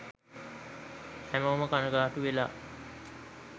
හැමෝම කණගාටු වෙලා